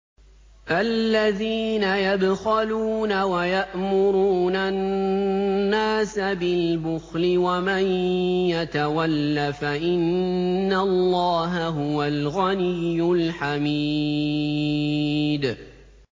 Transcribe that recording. الَّذِينَ يَبْخَلُونَ وَيَأْمُرُونَ النَّاسَ بِالْبُخْلِ ۗ وَمَن يَتَوَلَّ فَإِنَّ اللَّهَ هُوَ الْغَنِيُّ الْحَمِيدُ